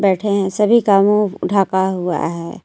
बैठे हैं सभी का मुंह ढका हुआ है.